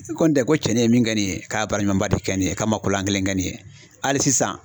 I kɔni tɛ ko cɛnin ye min kɛ nin ye k'a baara ɲumanba de kɛ nin ye k'a man ko lankelen kɛ nin ye hali sisan